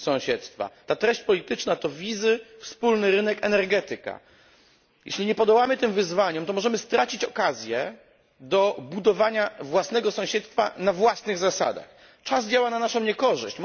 Ta treść polityczna to wizy, wspólny rynek, energetyka. Jeśli nie podołamy tym wezwaniom, to możemy stracić okazję do budowania własnego sąsiedztwa na własnych zasadach. Czas działa na naszą niekorzyść.